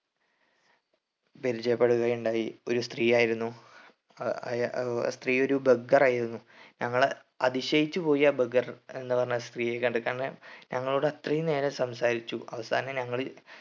പരിചയപ്പെടുകയുണ്ടായി ഒരു സ്ത്രീയായിരുന്നു അഹ് ആ സ്ത്രീ ഒരു beggar ആയിരുന്നു ഞങ്ങള് അതിശയിച്ചുപോയി ആ beggar എന്ന് പറഞ്ഞ സ്ത്രീയെ കണ്ടിട്ട് കാരണം ഞങ്ങളോട് അത്രയും നേരം സംസാരിച്ചു അവസാനം ഞങ്ങള്